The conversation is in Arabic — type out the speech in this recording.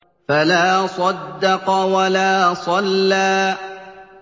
فَلَا صَدَّقَ وَلَا صَلَّىٰ